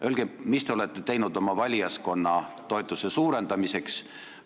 Öelge, mis te olete teinud oma valijaskonna toetuse suurendamiseks.